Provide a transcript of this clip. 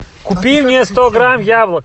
купи мне сто грамм яблок